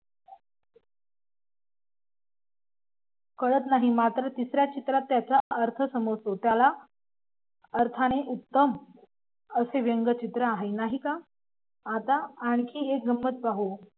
कळत नाही मात्र तिसऱ्या चित्रात त्याचा अर्थ समजतो. त्याला अर्थाने उत्तम असे व्यंगचित्र आहे नाही का आता आणखी एक गंमत पाहू,